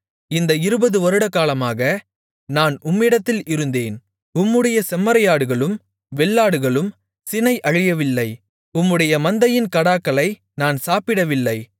இந்த இருபது வருடகாலமாக நான் உம்மிடத்தில் இருந்தேன் உம்முடைய செம்மறியாடுகளும் வெள்ளாடுகளும் சினை அழியவில்லை உம்முடைய மந்தையின் கடாக்களை நான் சாப்பிடவில்லை